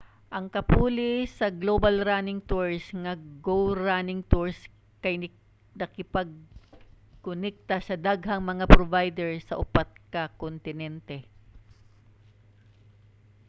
ang kapuli sa global running tours nga go running tours kay nakigkonekta sa daghang mga provider sa upat ka kontinente